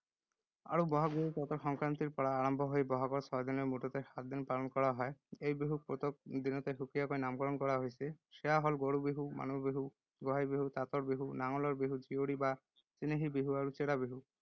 বহাগ বিহু চ’তৰ সংক্ৰান্তিৰ পৰা আৰম্ভ হৈ ব’হাগৰ ছয় দিনলৈ মুঠতে সাতদিন পালন কৰা হয়। এই বিহুক প্ৰত্যেক দিনতে সুকীয়াকৈ নামকৰণ কৰা হৈছে। সেয়া হ’ল গৰু বিহু, মানুহ বিহু, গোঁসাই বিহু, তাঁতৰ বিহু, নাঙলৰ বিহু, জীয়ৰী বা চেনেহী বিহু আৰু চেৰা বিহু।